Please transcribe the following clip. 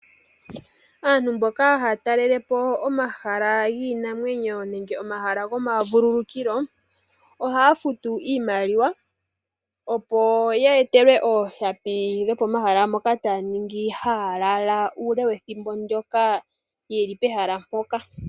Aantu mboka haya talelele po omahala giinamwenyo nenge omahala gomavulukukilo, ohaya futu iimaliwa opo ya etelwe ooshapi dhopomahala moka taya ningi haya lala uule wethimbo ndoka ye li pehala mpoka.